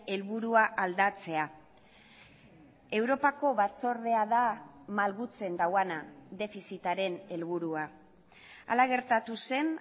helburua aldatzea europako batzordea da malgutzen duena defizitaren helburua hala gertatu zen